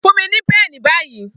Fun mi ni pẹ́ẹ̀nì bayi!